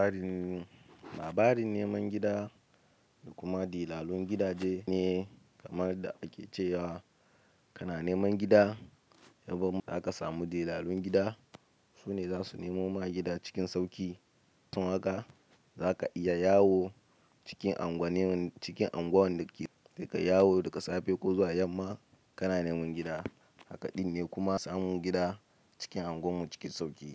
Labarin, labarin neman gida da kuma dilalen gidaje ne kamar da ake cewa kana neman gida. In bamu aka samu dilalun gida. Su ne za su nemo ma gida cikin sauƙi. Tun haka za ka iya yawo cikin anguwanni ciki anguwan da kike yawo daga safe ko zuwa yamma kana neman gida. Hakaɗin ne kuma samun gida cikin anguwanmu cikin sauƙi.